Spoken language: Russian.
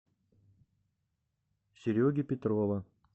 сереги петрова